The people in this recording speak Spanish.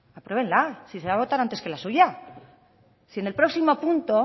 apruébenla si se va a votar antes que la suya si en el próximo punto